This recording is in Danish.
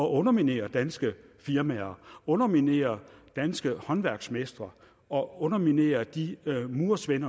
underminere danske firmaer underminere danske håndværksmestre og underminere de murer